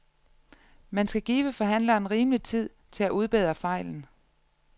Man skal give forhandleren rimelig tid til at udbedre fejlen.